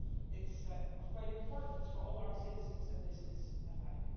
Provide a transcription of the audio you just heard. It is of great importance for all our citizens and businesses alike.